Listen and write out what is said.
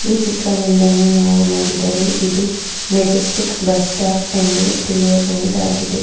ಈ ಚಿತ್ರ ಒಂದನ್ನು ನಾವು ನೋಡಿದರೆ ಇದು ಮೆಜೆಸ್ಟಿಕ್ ಬಸ್ ಸ್ಟಾಪ್ ಎಂದು ತಿಳಿಯಬಹುದಾಗಿದೆ.